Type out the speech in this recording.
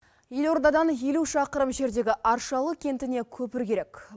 елордадан елу шақырым жердегі аршалы кентіне көпір керек